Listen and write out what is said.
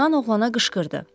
Yunan oğlana qışqırdı.